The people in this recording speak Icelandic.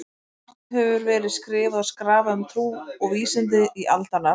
Margt hefur verið skrifað og skrafað um trú og vísindi í aldanna rás.